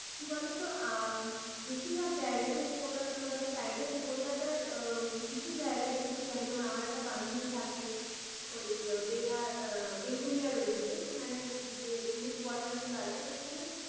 কি বলতো? আ বেশিরভাগ জায়গায় কলকাতা টলকাতার side টে, কলকাতার কিছু জায়গা দেখেছি আমি। আমার একটা বান্ধবী থাকে ওই বেহালা বেলঘড়িয়ার ওইদিকে মানে ওইখানে যে police quarters গুলো আছে।